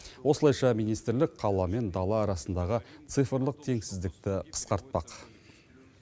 осылайша министрлік қала мен дала арасындағы цифрлық теңсіздікті қысқартпақ